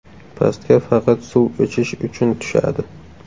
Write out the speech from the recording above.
Pastga faqat suv ichish uchun tushadi.